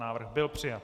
Návrh byl přijat.